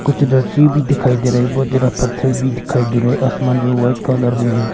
कुछ भी दिखाई दे रहे हैं बहुत ज्यादा पत्थर भी दिखाई दे रहे हैं आसमान जो व्हाइट कलर में है।